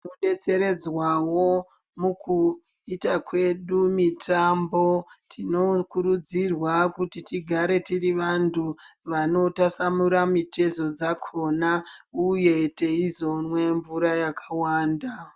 Tinodetseredzwawo mukuita kwedu mitambo tinokurudzirwa kuti tigare tiri vantu vanotasanura mitezo dzakona uye teizomwe mvura yakawanda.